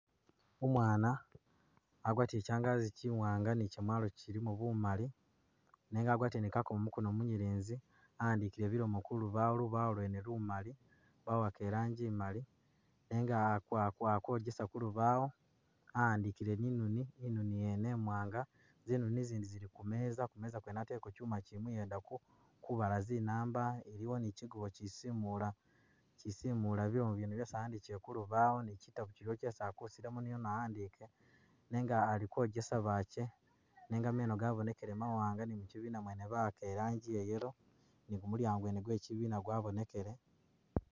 Umwana agwatile kyangazi kyiwanga ni kyamwalo kyilimo bumali nenga agwatile nikakomo mukono munyelezi awandikile bilomo kulubawo , lubawo lwene lumali bawaka iranji imali nenga akwogesa kulubawo awandikile ni’noni inoni yene imwanga , zinoni izindi zili kumeza , imeza yene ateleko khuma kyimuyeda kubala zinamba iliwo ni kyigubo kyisimula, kyisimula bilomo byene byesi awandikile kulubawo ni kyitabo kyiliwo kyesi akusilamu niyono awandike nenga ali kwogesa bakye nenga meno gabonekele mawanga ni mukyibina mwene bawaka iranji iya yellow ni gumulyango gwena gwekyibina gwabonekele.